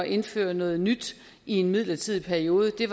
indføre noget nyt i en midlertidig periode det